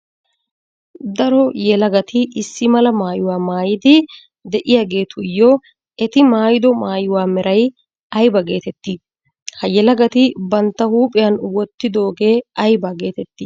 Daro yelagatti issi mala maayuwa maayiddi de'yaagettuyo etti maayido maayuwaa meray aybba geetetti? Ha yelagatti bantta huuphiyan wottidooge aybba geetetti?